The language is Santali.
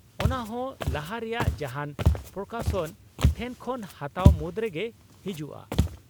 ᱚᱱᱟ ᱦᱚᱸ ᱞᱟᱦᱟ ᱨᱮᱭᱟᱜ ᱡᱟᱦᱟᱸᱱ ᱯᱨᱚᱠᱟᱥᱚᱱ ᱴᱷᱮᱱ ᱠᱷᱚᱱ ᱦᱟᱛᱟᱣ ᱢᱩᱫᱨᱮᱜᱮ ᱦᱤᱡᱩᱜᱼᱟ ᱾